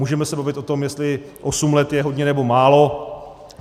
Můžeme se bavit o tom, jestli osm let je hodně, nebo málo.